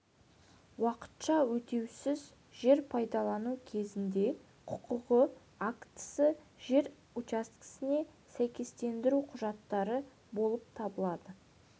уақытша өтеусіз жер пайдалану кезінде құқығы актісі жер учаскесіне сәйкестендіру құжаттары болып табылады